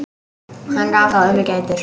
Hann gaf þó ömmu gætur.